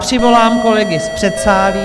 Přivolám kolegy z předsálí.